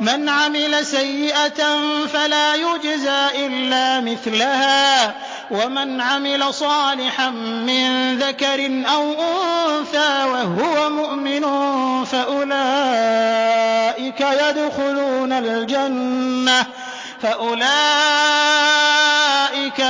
مَنْ عَمِلَ سَيِّئَةً فَلَا يُجْزَىٰ إِلَّا مِثْلَهَا ۖ وَمَنْ عَمِلَ صَالِحًا مِّن ذَكَرٍ أَوْ أُنثَىٰ وَهُوَ مُؤْمِنٌ فَأُولَٰئِكَ